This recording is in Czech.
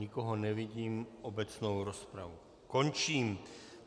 Nikoho nevidím, obecnou rozpravu končím.